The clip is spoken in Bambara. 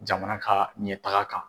Jamana ka ɲɛtaga kan.